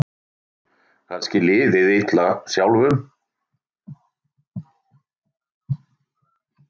Kannski liðið illa sjálfum.